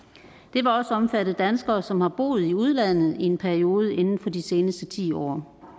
vil også omfatte danskere som har boet i udlandet i en periode inden for de seneste ti år